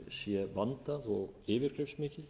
sé vandað og yfirgripsmikið